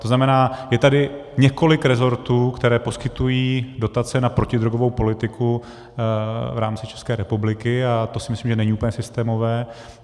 To znamená, je tady několik resortů, které poskytují dotace na protidrogovou politiku v rámci České republiky, a to si myslím, že není úplně systémové.